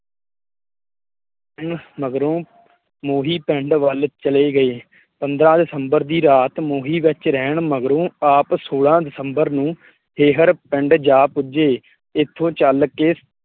ਮਗਰੋ ਮੋਹੀ ਪਿੰਡ ਵੱਲ ਚਲੇ ਗਏ ਪੰਦ੍ਰਾਂਹ ਦਸੰਬਰ ਦੀ ਰਾਤ ਮੋਹੀ ਵਿੱਚ ਰਹਿਣ ਮਗਰੋਂ ਆਪ ਸੌਲਾਂ ਦਸਬੰਰ ਨੂੰ ਹੇਹਰ ਪਿੰਡ ਜਾ ਪੁੱਜੇ ਇਥੋਂ ਚੱਲ਼ ਕੇ